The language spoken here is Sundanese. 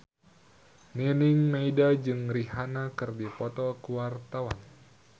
Nining Meida jeung Rihanna keur dipoto ku wartawan